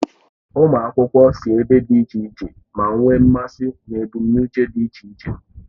Ụmụ akwụkwọ si ebe dị iche iche, ma nwee mmasị na ebumnuche dị iche iche.